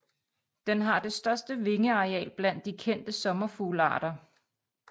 Den har det største vingeareal blandt de kendte sommerfuglarter